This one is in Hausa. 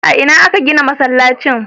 A ina aka gina masallacin?